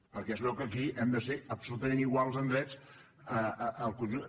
perquè es veu que aquí hem de ser absolutament iguals en drets al conjunt